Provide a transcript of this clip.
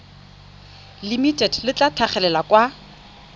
limited le tla tlhagelela kwa